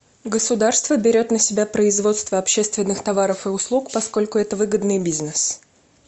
государство берет на себя производство общественных товаров и услуг поскольку это выгодный бизнес